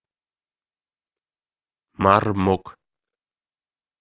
мармок